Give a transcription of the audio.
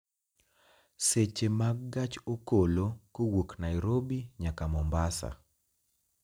seche mag gach okolo kowuok nairobi nyaka mombasa